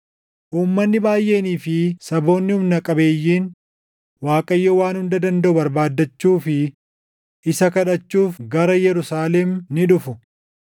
Uummanni baayʼeenii fi saboonni humna qabeeyyiin Waaqayyo Waan Hunda Dandaʼu barbaadachuu fi isa kadhachuuf gara Yerusaalem ni dhufu.”